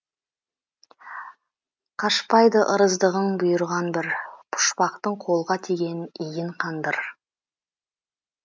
қашпайды ырыздығың бұйырған бір пұшпақтың қолға тиген иін қандыр